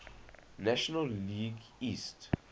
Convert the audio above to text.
national league east